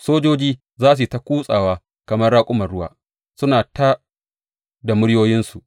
Sojoji za su yi ta kutsawa kamar raƙuman ruwa; suna tā da muryoyinsu.